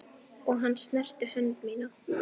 Og hann snerti hönd mína.